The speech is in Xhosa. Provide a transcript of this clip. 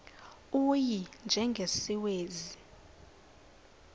u y njengesiwezi